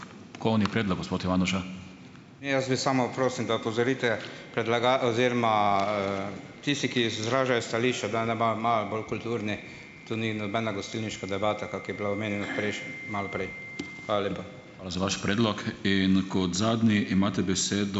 Jaz bi samo, prosim, da opozorite, oziroma, tisti, ki izražajo stališča, da naj imajo malo bolj kulturni, tu ni nobena gostilniška debata, kak je bilo omenjeno malo prej. Hvala lepa.